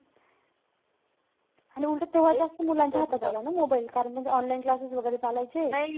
आणि उलटं तेव्हा जास्त मुलांच्या हातात आला ना mobile. कारण त्यांचे online classes वैगेरे चालायचे.